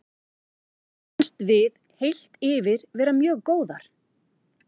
Mér fannst við heilt yfir vera mjög góðar.